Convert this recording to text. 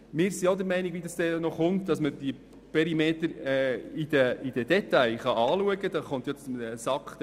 Wir sind der Meinung, dass die Perimeter im Detail einmal genauer betrachtet werden müssen.